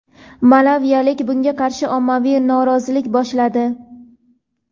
Malaviliklar bunga qarshi ommaviy norozilik boshladi.